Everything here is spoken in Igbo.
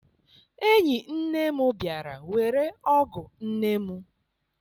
Enyi nne m bịara were ọgụ nne m.